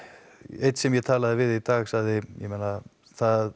einn sem ég talaði við í dag sagði að það